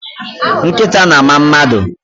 Nkịta na-ama mmadụ.